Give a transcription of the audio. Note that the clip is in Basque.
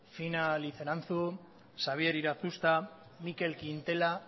fina liceranzu xabier irazusta mikel quintela